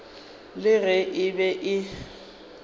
le ge e be e